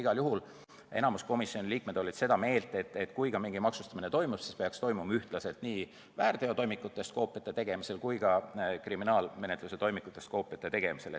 Igal juhul oli enamik komisjoni liikmeid seda meelt, et kui mingi maksustamine toimub, siis peaks see toimuma ühtlaselt nii väärteotoimikutest koopiate tegemisel kui ka kriminaalmenetluse toimikutest koopiate tegemisel.